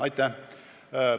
Aitäh!